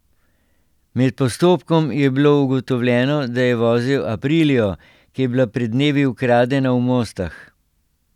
Med postopkom je bilo ugotovljeno, da je vozil aprilio, ki je bila pred dnevi ukradena v Mostah.